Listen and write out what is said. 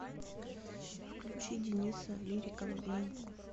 включи дениса лирика в обнимку